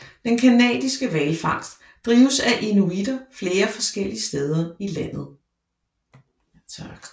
Den canadiske hvalfangst drives af inuitter flere forskellige steder i landet